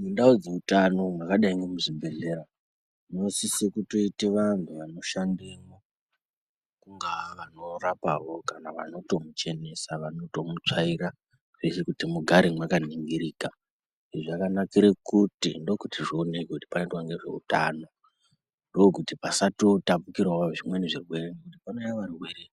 Mundau dzeutano mwakadai ngemuchibhedhleya munosise kutoite vantu vanoshandemwo kungaa vanorapavo kana vanotomuchenesa vanotomutsvaira kuti mugare mwakaningirika, zvakanakire kuti ndokuti zvioneke kuti panoitwe ngezveutano ndokuti pasatotapukirawo zvimweni zvirwere ngekuti panouya varwere